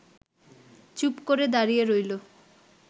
চুপ করে দাঁড়িয়ে রইল